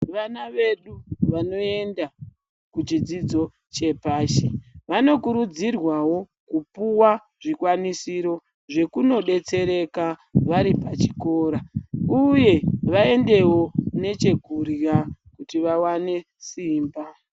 Vana vedu vanoenda kuchidzidzo chepashi vanokurudzirwawo kupuwa zvikwanisiro zvekunodetsereka vari pachikora, uye vaendewo nechekurya kuti vawane simba.